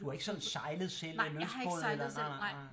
Du har ikke sådan sejlet selv en lystbåd eller nej nej